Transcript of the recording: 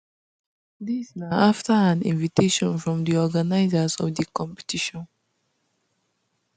dis na after an invitation from di organisers of di competition